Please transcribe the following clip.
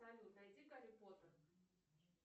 салют найди гарри поттер